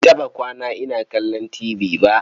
Ban taɓa kwana ina kallon tibi ba.